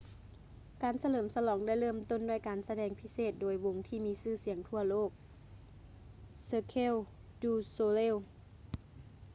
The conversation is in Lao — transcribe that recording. ການສະເຫຼີມສະຫຼອງ ໄດ້ເລີ່ມຕົ້ນດ້ວຍການສະແດງພິເສດໂດຍວົງທີ່ມີຊື່ສຽງທົ່ວໂລກ ເຊີເຄວ ດູ ໂຊເລລ໌ cirque du soleil